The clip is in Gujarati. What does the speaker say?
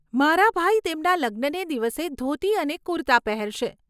મારા ભાઈ તેમના લગ્નને દિવસે ધોતી અને કુર્તા પહેરશે.